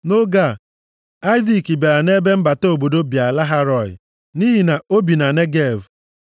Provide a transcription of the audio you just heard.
Nʼoge a, Aịzik bịara nʼebe mbata obodo Bịa-Lahai-Rọị nʼihi na o bi na Negev.